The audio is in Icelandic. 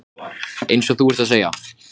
En hvað vissi hún um Ísland?